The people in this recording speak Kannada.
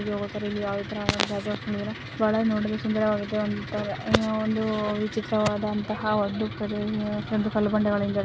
ಇಲ್ಲಿ ಒಂತರ ಯಾವ ತರ ಒಳ ನೋಡುದ್ರೆ ಸುಂದರವಾಗಿದೆ ಅಂತರೇ ಒಂದು ವಿಚಿತ್ರವಾದಂತಹ ಒಂದು ಒಂದು ಕಲ್ಲು ಬಂಡೆಗಳಿಂದ --